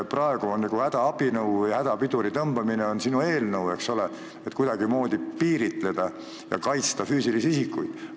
Praegu on sinu eelnõu nagu hädapiduri tõmbamine, et seda kuidagimoodi piiritleda ja kaitsta füüsilisi isikuid.